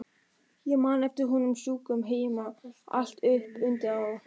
Ég man eftir honum sjúkum heima, allt upp undir ár.